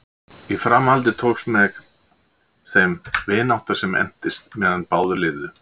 í framhaldi tókst með þeim vinátta sem entist meðan báðir lifðu